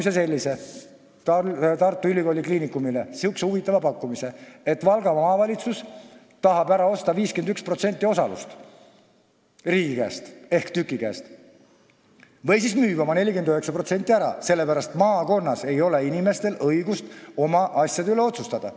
Samal ajal tehti Tartu Ülikooli Kliinikumile selline huvitav pakkumine: Valga Maavalitsus tahab riigi ehk TÜK-i käest 51% osalust ära osta või müüb oma 49% ära, sellepärast et inimestel ei ole õigust maakonnas oma asjade üle otsustada.